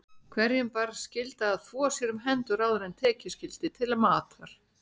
Hverjum bar skylda að þvo sér um hendur áður en tekið skyldi til matar.